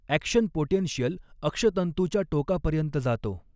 Action potential अक्षतंतूच्या टोकापर्यंत जातो.